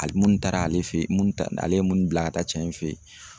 Hali munnu taara ale fe ye munnu taa ale ye munnu bila ka taa cɛ in fe ye